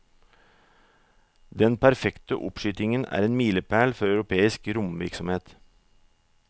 Den perfekte oppskytingen er en milepæl for europeisk romvirksomhet.